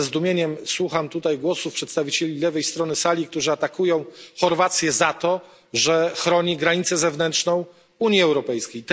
Ja ze zdumieniem słucham tutaj głosów przedstawicieli lewej strony sali, którzy atakują Chorwację za to, że chroni granicę zewnętrzną Unii Europejskiej.